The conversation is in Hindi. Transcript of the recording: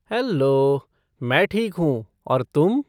हैलो, मैं ठीक हूँ, और तुम?